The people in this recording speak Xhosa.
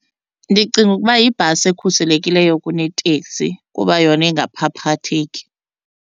Ndicinga ukuba yibhasi ekhuselekileyo kuneteksi kuba yona ingaphaphatheki.